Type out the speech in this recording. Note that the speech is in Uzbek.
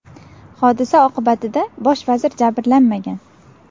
Hodisa oqibatida bosh vazir jabrlanmagan.